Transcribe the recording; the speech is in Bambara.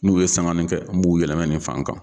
N'u ye sanŋanin kɛ n b'u yɛlɛmɛ nin fan kan.